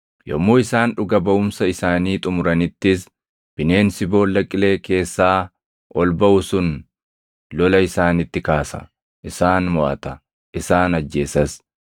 Yommuu isaan dhuga baʼumsa isaanii xumuranittis bineensi Boolla Qilee keessaa ol baʼu sun lola isaanitti kaasa; isaan moʼata; isaan ajjeesas.